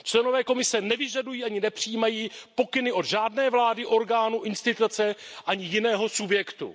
Členové Komise nevyžadují ani nepřijímají pokyny od žádné vlády, orgánu, instituce ani jiného subjektu.